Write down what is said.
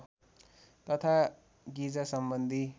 तथा गिजा सम्बन्धी